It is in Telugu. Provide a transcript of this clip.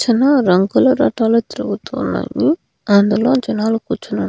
చన రంగుల రటాలు తిరుగుతూ ఉన్నాయి అందులో జనాలు కూర్చుని ఉన్నా.